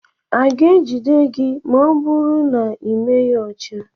A ga-ejide gị ma ọ bụrụ na ị meghị ọcha?